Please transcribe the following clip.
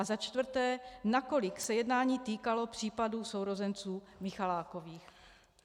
A za čtvrté: Nakolik se jednání týkalo případu sourozenců Michalákových?